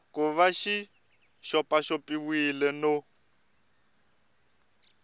ku va xi xopaxopiwile no